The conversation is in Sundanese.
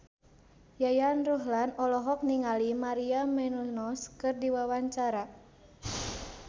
Yayan Ruhlan olohok ningali Maria Menounos keur diwawancara